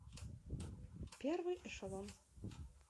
первый эшелон